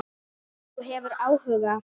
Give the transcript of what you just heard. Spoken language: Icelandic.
Ef þú hefur áhuga.